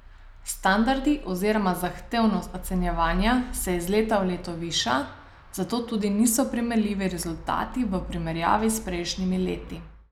Standardi oziroma zahtevnost ocenjevanja se iz leta v leto viša, zato tudi niso primerljivi rezultati v primerjavi s prejšnjimi leti.